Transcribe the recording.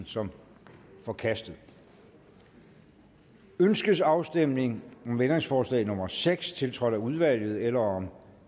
som forkastet ønskes afstemning om ændringsforslag nummer seks tiltrådt af udvalget eller om